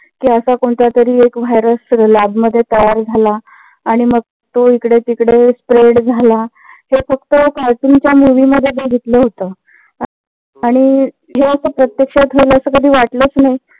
कि असा कोणता तरी एक virus lab मध्ये तयार झाला आणि मग तो इकडे तिकडे sprade झाला. हे फक्त cartoon च्या movie मध्ये बघितलं होत. आणि हे अस प्रत्यक्षात होईल अस वाटलंच नाही.